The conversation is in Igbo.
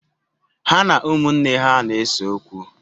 Ha na ụmụnne ha na-ese okwu.